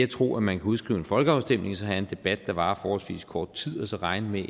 tro at man kan udskrive en folkeafstemning og så have en debat der varer forholdsvis kort tid og så regne med